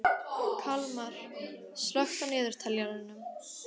Kalmar, slökktu á niðurteljaranum.